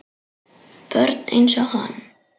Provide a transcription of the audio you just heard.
Börn einsog hann.